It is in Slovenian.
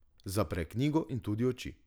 Zapre knjigo in tudi oči.